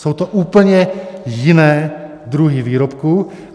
Jsou to úplně jiné druhy výrobků.